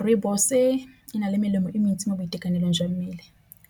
Rooibos e na le melemo e mentsi mo boitekanelong jwa mmele